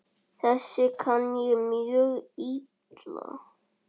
Þessu kann ég mjög illa.